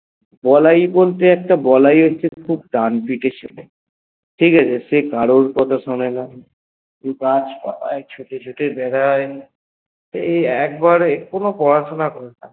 এখানে বলাই বলতে বলে হল একজন খুব ডানপিটে ছেলে ঠিকাছে সে কারুর কথা শোনে না শুধু ছুটে ছুটে বেড়ায় এই একবারে কোনো পড়াশোনা করেন